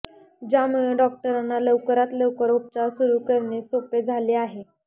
ज्यामुळे डॉक्टरांना लवकरात लवकर उपचार सुरू करणे सोपे झाले आहे